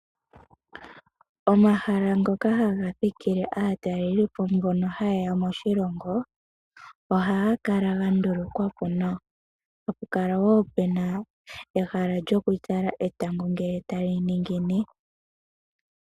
Omahala ngoka haga thikile aatalelipo mbono hayeya moshilongo ohaga kala gandulukwapo nawa tapu kala puna nehala lyokutala etango ngele tali ningine.